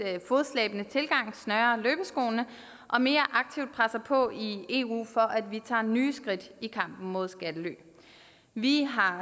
fodslæbende tilgang snører løbeskoene og mere aktivt presser på i eu for at vi tager nye skridt i kampen mod skattely vi har